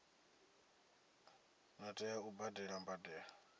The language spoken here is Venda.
ḓo tea u badela mbadelo